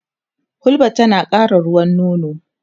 hulba tana ƙara ruwan nono